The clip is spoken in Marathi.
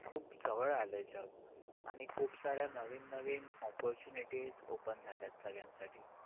खूप जवळ आलंय जग. आणि खूप साऱ्या नवीन नवीन opportunities open झाल्यात सगळ्यांसाठी.